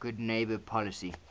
good neighbor policy